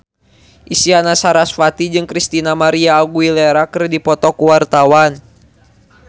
Isyana Sarasvati jeung Christina María Aguilera keur dipoto ku wartawan